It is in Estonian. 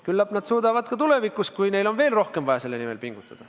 Küllap nad suudavad ka tulevikus, kui neil on veel rohkem vaja selle nimel pingutada.